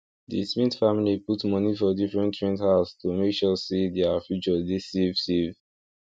di smith family put money for different rent house to make sure say their future dey safe safe